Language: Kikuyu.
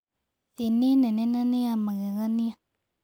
Thĩ nĩ nene na nĩ ya magegania.